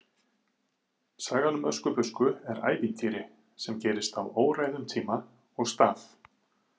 Sagan um Öskubusku er ævintýri sem gerist á óræðum tíma og stað.